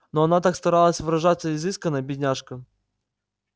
но она так старалась выражаться изысканно бедняжка